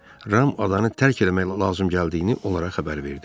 Ram adanı tərk eləmək lazım gəldiyini onlara xəbər verdi.